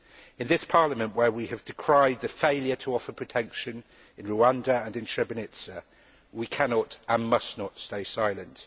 In this Parliament, where we have decried the failure to offer protection in Rwanda and Srebrenica, we cannot and must not stay silent.